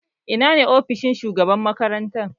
Ina ne ofishin shugaban makaranta?